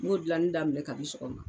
N b'o gilanni daminɛ kabi sɔgɔma